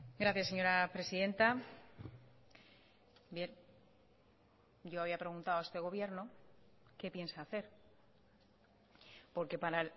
gracias señora presidenta bien yo había preguntado a este gobierno qué piensa hacer porque para